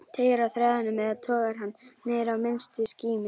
Teygir á þræðinum eða togar hann niður í minnstu skímu?